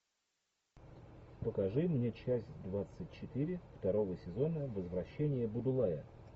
покажи мне часть двадцать четыре второго сезона возвращение будулая